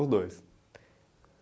Os dois.